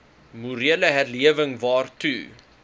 morele herlewing waartoe